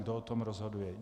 Kdo o tom rozhoduje?